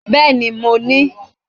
Bẹ́ẹ̀ni mo ní